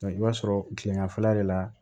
i b'a sɔrɔ kileganfɛla de la